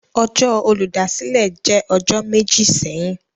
Ọjọ Oludasile jẹ ọjọ meji sẹhin.